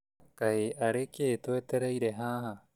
Kaĩ arĩ kĩĩ twetereire haha